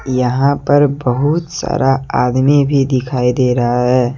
यहां पर बहुत सारा आदमी भी दिखाई दे रहा है।